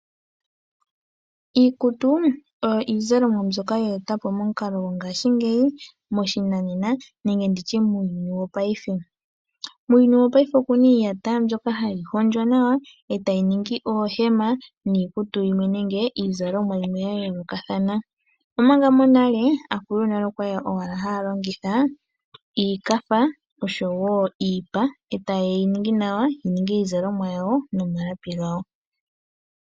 Iikutu oyo iizalomwa mbyoka ye etwa po momukalo gongaashingeyi moshinanena nenge ndi tye muuyuni wopaife. Muuyuni wopaife oku na iiyata mbyoka hayi hondjwa nawa e tayi ningi oohema niikutu yimwe nenge iizalomwa yimwe ya yoolokathana, omanga monale aakulu yonale oya li owala haya longitha iikatha noshowo iipa e taye yi ningi nawa yi ninge iizalomwa yawo nopalapi gawo.